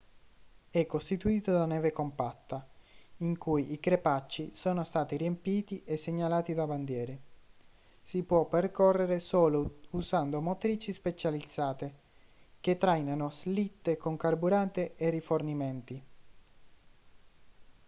è costituito da neve compattata in cui i crepacci sono stati riempiti e segnalati da bandiere si può percorrere solo usando motrici specializzate che trainano slitte con carburante e rifornimenti